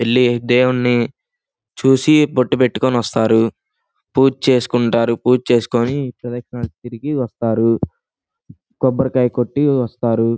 వెళ్లి దేవుణ్ణి చూసి బొట్టు పెట్టుకుని వస్తారు పూజ చేసుకొంటారు. పూజ చేసుకొని ప్రదక్షణ తిరిగి వస్తారు. కొబ్బరికాయ కొట్టి వస్తారు.